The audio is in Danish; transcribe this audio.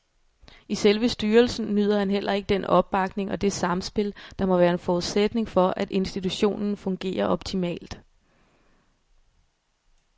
I selve styrelsen nyder han heller ikke den opbakning og det samspil, der må være en forudsætning for, at institutionen fungerer optimalt.